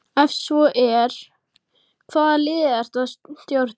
Ef svo er, hvaða liði ertu að stjórna?